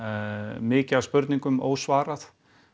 mikið af spurningum ósvarað